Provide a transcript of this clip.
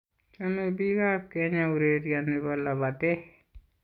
Choemi biik ab kenya ureria ne bo labatee.